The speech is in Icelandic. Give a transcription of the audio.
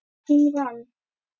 Og hún vann.